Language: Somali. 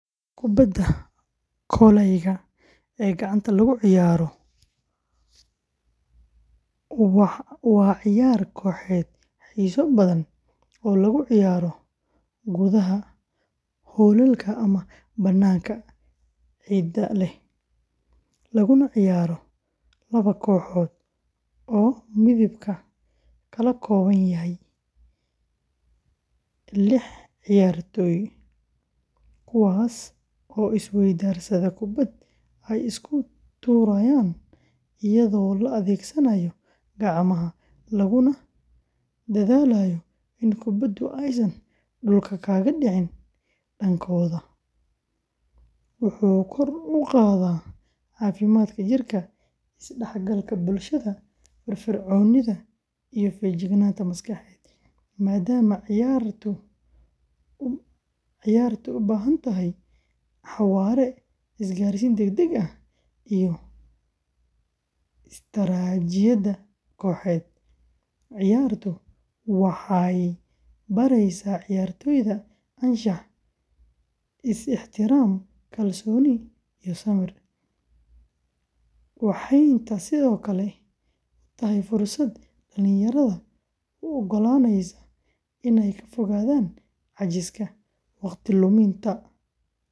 Kubadda kolayga ee gacanta lagu ciyaaro, waa ciyaar kooxeed xiiso badan oo lagu ciyaaro gudaha hoolalka ama bannaanka ciidda leh, laguna ciyaaro laba kooxood oo midkiiba ka kooban yahay lix ciyaartoy, kuwaas oo is-weydaarsada kubbad ay isku tuurayaan iyadoo la adeegsanayo gacmaha, laguna dadaalayo in kubbadu aysan dhulka kaga dhicin dhankooda; wuxuu kor u qaadaa caafimaadka jirka, is-dhexgalka bulshada, firfircoonida, iyo feejignaanta maskaxeed, maadaama ciyaartu u baahan tahay xawaare, isgaarsiin degdeg ah, iyo istaraatiijiyad kooxeed; ciyaartu waxay baraysaa ciyaartoyda anshax, is-ixtiraam, kalsooni iyo samir, waxayna sidoo kale u tahay fursad dhalinyarada u oggolaanaysa inay ka fogaadaan caajiska, waqtiga luminta.